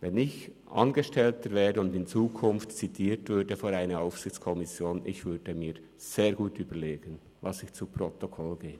Wenn ich Angestellter wäre und in Zukunft vor eine Aufsichtskommission zitiert würde, dann würde ich mir sehr gut überlegen, was ich zu Protokoll gebe.